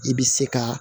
I bɛ se ka